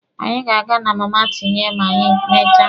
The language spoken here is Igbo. Anyị ga-aga na Mama Tinye ma anyị mechaa.